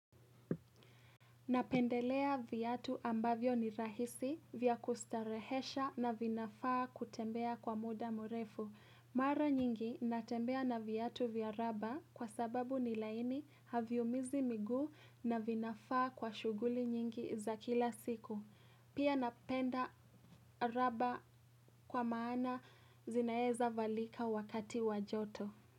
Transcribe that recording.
Napendelea viatu ambavyo ni rahisi vya kustarehesha na vinafaa kutembea kwa muda mrefu. Mara nyingi natembea na viatu vya raba kwa sababu ni laini haviumizi miguu na vinafaa kwa shughuli nyingi za kila siku. Pia napenda raba kwa maana zinaezavalika wakati wa joto.